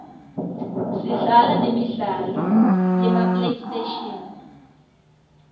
sidlala nemidlalo yema playstation